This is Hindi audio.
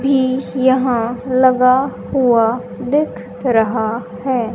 भी यहां लगा हुआ दिख रहा है।